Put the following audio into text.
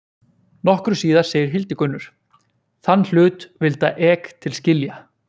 Nokkru síðar segir Hildigunnur: Þann hlut vilda ek til skilja.